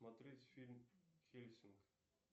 смотреть фильм хельсинг